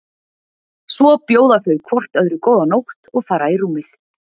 Svo bjóða þau hvort öðru góða nótt og fara í rúmið.